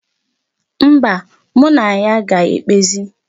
Mba, mụ na ya ga-ekpezi.